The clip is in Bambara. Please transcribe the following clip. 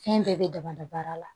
Fɛn bɛɛ bɛ daba da baara la